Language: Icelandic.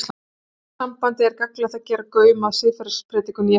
Í þessu sambandi er gagnlegt að gefa gaum að siðferðispredikun Jesú.